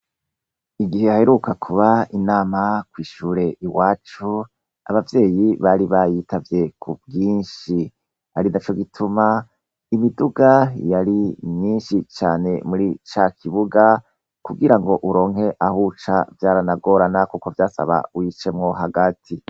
Igihe haheruka kuba inama kw'ishure iwacu, abavyeyi bari bayitavye kubwinshi, arinaco gituma imiduga yari myinshi cane muri cakibuga kugirango uronke ahuca vyaranagorana kuko vyasaba uyicemwo hagati.